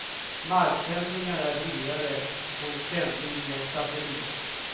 Marksändningar är dyrare än sändning via satellit.